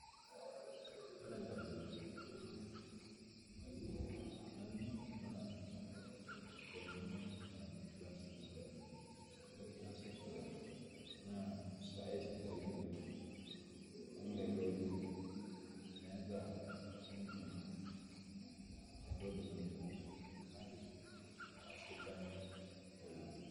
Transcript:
Ore enkabila enkuna mali nanyor, naa Kuna naji classic blend naa saai sidain oleng wemeloni ,meeta ninye entoki nangou kake aisidai oleng.